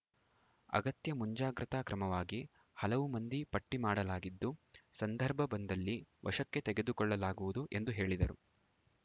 ಅಗತ್ಯ ಮುಂಜಾಗ್ರತಾ ಕ್ರಮವಾಗಿ ಹಲವು ಮಂದಿ ಪಟ್ಟಿಮಾಡಲಾಗಿದ್ದು ಸಂದರ್ಭ ಬಂದಲ್ಲಿ ವಶಕ್ಕೆ ತೆಗೆದುಕೊಳ್ಳಲಾಗುವುದು ಎಂದು ಹೇಳಿದರು